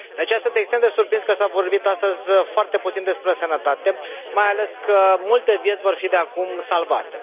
De aceea, sunt extrem de surprins că s a vorbit astăzi foarte puțin despre sănătate, mai ales că multe vieți vor fi de acum salvate.